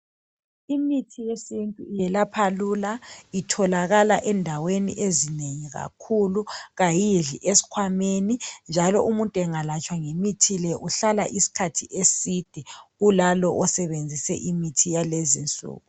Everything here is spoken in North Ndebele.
Imithi yesintu iyelapha lula, itholakala endaweni ezinengi kakhulu, kayidli eskhwameni, njalo umuntu angalatshwa ngalimithi le uhlala iskhathi eside kulalo osebenzise imithi yalezinsuku.